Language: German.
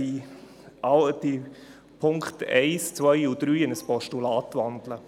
Ich wandle alle drei Ziffern in Postulate.